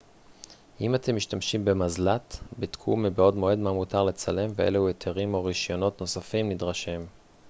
אם אתם משתמשים במזל ט בדקו מבעוד מועד מה מותר לצלם ואילו היתרים או רישיונות נוספים נדרשים